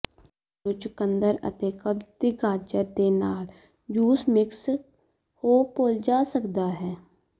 ਤੁਹਾਨੂੰ ਚੁਕੰਦਰ ਅਤੇ ਕਬਜ਼ ਦੀ ਗਾਜਰ ਦੇ ਨਾਲ ਜੂਸ ਮਿਕਸ ਹੋ ਭੁੱਲ ਜਾ ਸਕਦਾ ਹੈ